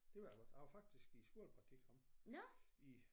Det ved jeg godt jeg var faktisk i skolepraktik heroppe i